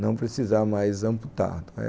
não precisar mais amputado.